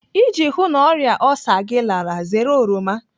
Iji hụụ na ọrịa olsa gị lara, zere oroma.